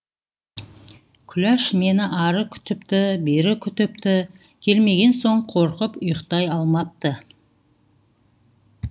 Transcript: күләш мені ары күтіпті бері күтіпті келмеген соң қорқып ұйықтай алмапты